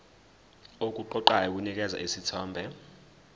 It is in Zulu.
okuqoqayo kunikeza isithombe